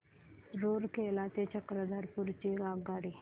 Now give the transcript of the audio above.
रूरकेला ते चक्रधरपुर ची आगगाडी